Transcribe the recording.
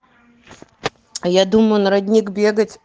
а я думаю на родник бегать